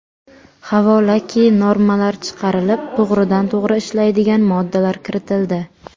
Havolaki normalar chiqarilib, to‘g‘ridan to‘g‘ri ishlaydigan moddalar kiritildi.